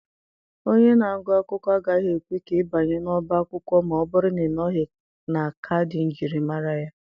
Onye na-agụ akwụkwọ agaghị ekwe ka ị banye n'ọbá akwụkwọ ma ọ bụrụ na ịnọghị na kaadị njirimara gị.